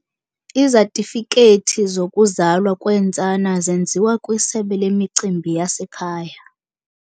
Izatifikethi zokuzalwa kweentsana zenziwa kwisebe lemicimbi yasekhaya.